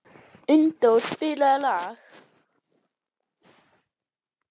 Unndór, spilaðu lag.